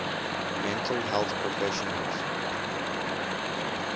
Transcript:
mental health professionals